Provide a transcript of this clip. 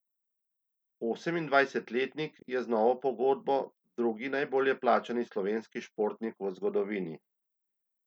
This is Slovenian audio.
Osemindvajsetletnik je z novo pogodbo drugi najbolje plačani slovenski športnik v zgodovini.